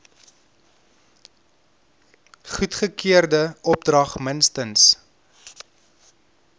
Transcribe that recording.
goedgekeurde opdrag minstens